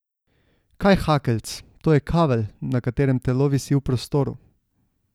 Kaj hakeljc, to je kavelj, na katerem telo visi v prostoru.